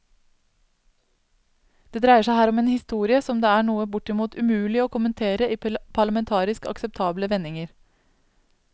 Det dreier seg her om en historie som det er noe bortimot umulig å kommentere i parlamentarisk akseptable vendinger.